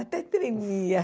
Até tremia.